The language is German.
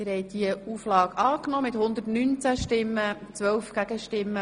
Sie haben die Auflage angenommen.